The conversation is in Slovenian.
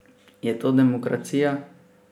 Je to demokracija?